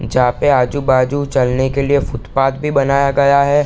जहां पे आजू-बाजू चलने के लिए फुटपाथ भी बनाया गया है।